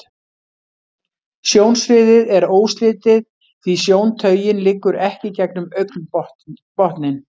Sjónsviðið er óslitið, því sjóntaugin liggur ekki gegnum augnbotninn.